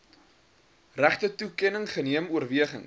regtetoekenning geneem oorwegings